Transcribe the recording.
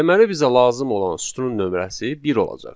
Deməli bizə lazım olan sütunun nömrəsi bir olacaq.